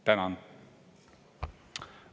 Tänan!